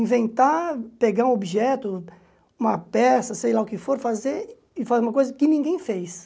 Inventar, pegar um objeto, uma peça, sei lá o que for, fazer e fazer uma coisa que ninguém fez.